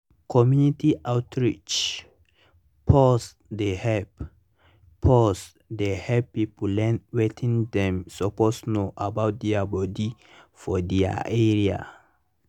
community outreach -pause dey help -pause dey help people learn wetin dem suppose know about their body for their area.